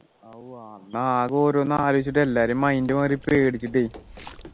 ആവോ അന്ന് ആകെ ഓരോന്ന് ആലോചിച്ചിട്ട് എല്ലാരേം mind മാറിപ്പോയി പേടിച്ചിട്ടേ